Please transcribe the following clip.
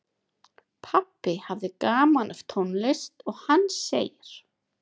Pabbi hafði gaman af tónlist og hann segir